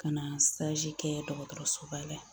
Ka na kɛ dɔgɔtɔrɔsoba la ya